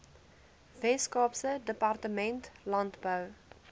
weskaapse departement landbou